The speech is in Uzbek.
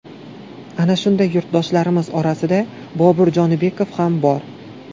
Ana shunday yurtdoshlarimiz orasida Bobur Jonibekov ham bor.